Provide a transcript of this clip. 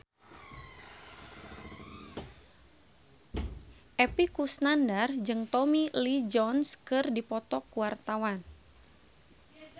Epy Kusnandar jeung Tommy Lee Jones keur dipoto ku wartawan